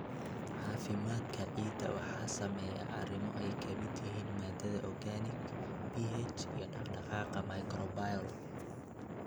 Caafimaadka ciidda waxaa saameeya arrimo ay ka mid yihiin maadada organic, pH, iyo dhaqdhaqaaqa microbial.